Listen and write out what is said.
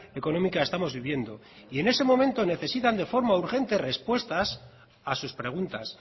económica estamos viviendo y en ese momento necesitan de forma urgente respuestas a sus preguntas